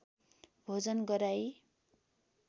भोजन गराई